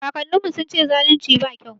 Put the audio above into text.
Kakannin mu sun ce zalunci ba kyau